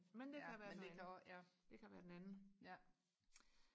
ja men det kan også ja ja